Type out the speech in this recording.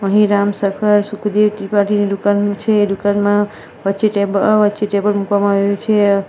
અહીં રામસખા સુખદેવ ત્રિપાઠીની દુકાનનું છે દુકાનમાં વચ્ચે ટેબ અ વચ્ચે ટેબલ મૂકવામાં આવ્યું છે.